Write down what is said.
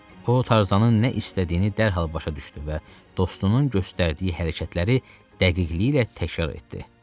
O, Tarzanın nə istədiyini dərhal başa düşdü və dostunun göstərdiyi hərəkətləri dəqiqliklə təkrarladı.